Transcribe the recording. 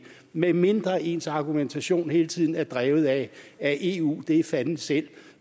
medmindre ens argumentation hele tiden er drevet af at eu er fanden selv